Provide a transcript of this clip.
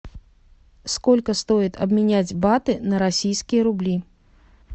сколько стоит обменять баты на российские рубли